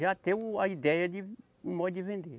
Já tem o, a ideia de, o modo de vender.